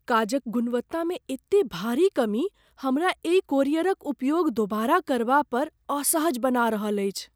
काजक गुणवत्तामे एते भारी कमी हमरा एहि कोरियरक उपयोग दोबारा करबा पर असहज बना रहल अछि।